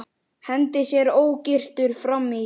Hendir sér ógyrtur fram í.